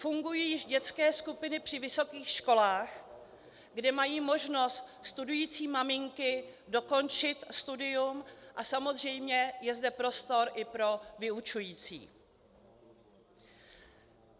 Fungují již dětské skupiny při vysokých školách, kde mají možnost studující maminky dokončit studium, a samozřejmě je zde prostor i pro vyučující.